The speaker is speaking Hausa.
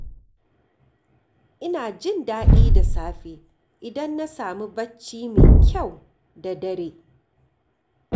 Ina jin daɗi da safe idan na samu bacci mai kyau da dare.